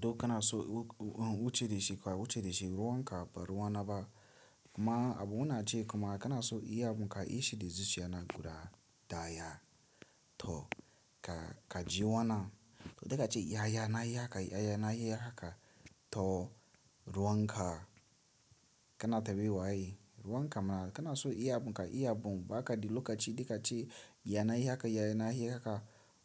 To kana so wuce da shi kuwa wuce shi ruwan ka ba ruwa na ba. Kuma abun na ce kuma kana so iya mun ka i shi da zuciyana guda daya. To, ka, ka ji wanan? To daka ce ya yana yi haka, ya yana yi haka. To, ruwan ka, kana tambi wa ye? Ruwan ka ma kana so iya mun ka iya mun baka da loka ci, dika ce yana yi haka, yana yi haka.